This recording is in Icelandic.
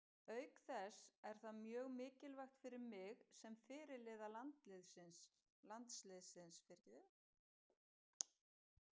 Auk þess er það mjög mikilvægt fyrir mig sem fyrirliða landsliðsins.